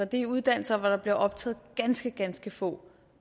det er uddannelser hvor der bliver optaget ganske ganske få